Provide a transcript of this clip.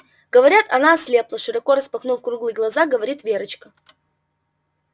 говорят она ослепла широко распахнув круглые глаза говорит верочка